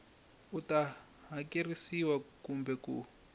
u ta hakerisiwa kumbe ku